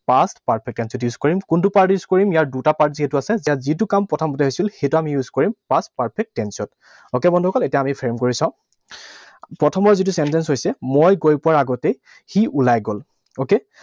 Past perfect tense ত use কৰিম। কোনটো part use কৰিম? ইয়াৰ দুটা part যিহেতু আছে। ইয়াত যিটো কাম প্ৰথমতে হৈছিল, সেইটো আমি use কৰিম past perfect tense ত। Okay, বন্ধুসকল, এতিয়া আমি frame কৰি চাওঁ। প্ৰথমৰ যিটো sentence হৈছে মই গৈ পোৱাৰ আগতেই সি ওলাই গল। Okay?